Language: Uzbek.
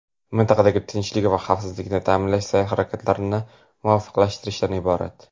mintaqada tinchlik va xavfsizlikni ta’minlash sa’y-harakatlarini muvofiqlashtirishdan iborat.